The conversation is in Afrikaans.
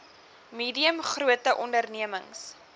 medium grote ondememings